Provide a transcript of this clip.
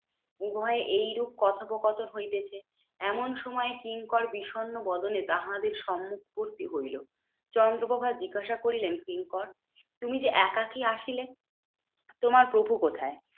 উভয়ে এইরূপ কথোপকথন হইতেছে, এমন সময় কিঙ্কর বিষন্ন বদনে তাহাদের সম্মুখ উপস্থিত হইলো। চন্দ্রপ্রভা জিজ্ঞাসা করিলেন, কিঙ্কর তুমি যে একাকী আসিলে? তোমার প্রভু কোথায়?